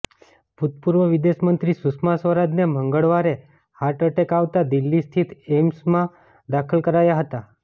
ભૂતપૂર્વ વિદેશ મંત્રી સુષ્મા સ્વરાજને મંગળવારે હાર્ટ એટેક આવતા દિલ્હી સ્થિત એઇમ્સમાં દાખલ કરાયા હતા